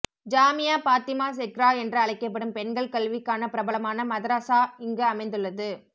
ஜாமியா பாத்திமா செக்ரா என்று அழைக்கப்படும் பெண்கள் கல்விக்கான பிரபலமான மதரஸா இங்கு அமைந்துள்ளது